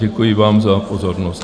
Děkuji vám za pozornost.